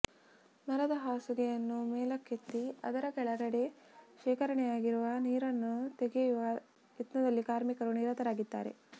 ಮರದ ಹಾಸುಗೆಯನ್ನು ಮೇಲಕ್ಕೆತ್ತಿ ಅದರ ಕೆಳಗಡೆ ಶೇಖರಣೆಯಾಗಿರುವ ನೀರನ್ನು ತೆಗೆಯುವ ಯತ್ನದಲ್ಲಿ ಕಾರ್ಮಿಕರು ನಿರತರಾಗಿದ್ದಾರೆ